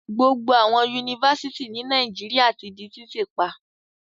Gbogbo àwọn Yunifásitì ní Nàìjíríà ti di títí pa.